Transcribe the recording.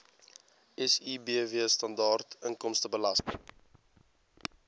sibw standaard inkomstebelasting